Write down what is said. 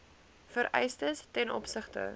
vereistes ten opsigte